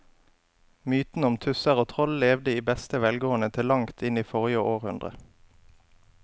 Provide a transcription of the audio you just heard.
Mytene om tusser og troll levde i beste velgående til langt inn i forrige århundre.